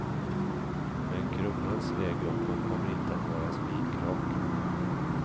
Men kronans väg uppåt kommer inte att vara spikrak.